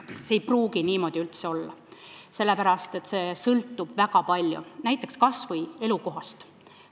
See ei pruugi niimoodi üldse olla, sest see sõltub väga palju näiteks kas või elukohast.